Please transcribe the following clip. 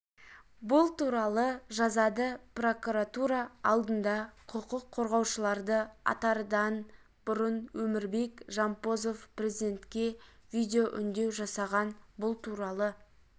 бұл туралы жазады прокуратура алдында құқық қорғаушыларды атардан бұрын өмірбек жампозов президентке видеоүндеу жасаған бұл туралы